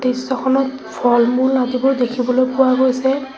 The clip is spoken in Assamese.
দৃশ্যখনত ফল-মূল আদিবোৰ দেখিবলৈ পোৱা গৈছে।